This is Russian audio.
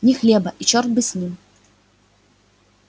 ни хлеба и чёрт бы с ним